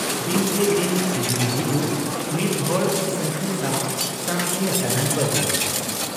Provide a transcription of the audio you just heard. ᱫᱤᱱᱠᱮ ᱫᱤᱱ ᱦᱤᱜᱨᱤ ᱦᱤᱡᱩᱜ ᱢᱤᱫ ᱦᱚᱲ ᱥᱟᱹᱝᱠᱷᱟᱹᱭ ᱥᱟᱶ ᱥᱟᱢᱜᱮ ᱟᱠᱟᱱᱟᱭ ᱵᱟᱹᱡᱩᱱ ᱾